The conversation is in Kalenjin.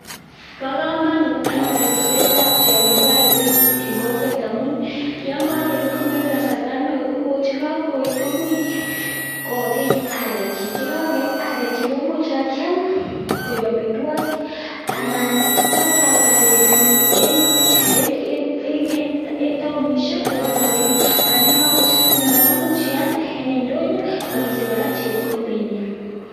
Bo komonut anyun ripsetab tionyi kibore pigs en kokwet amun yon kogerut komoibe kasarta neo koet. Ye kagoet komuch koi arekyik, ye kokoi arekyik komuch kyiam koik amitwogik anan kibakyalda bendonyin en tanishek ak kesich rabinik. Anam yon kogoechegituun kora komuch ialde en ndonyo ak isich kora chepkondok.